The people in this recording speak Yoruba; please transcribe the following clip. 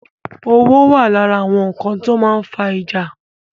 Owó wà lára nkan ti ó máa ń fa ìjà